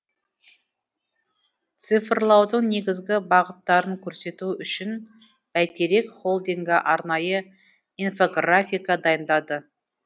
цифрлаудың негізгі бағыттарын көрсету үшін бәйтерек холдингі арнайы инфографика дайындады